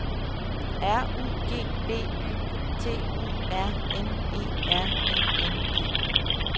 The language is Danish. R U G B Y T U R N E R I N G